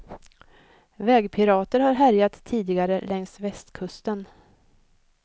Vägpirater har härjat tidigare längs västkusten.